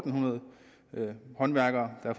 hundrede håndværkere der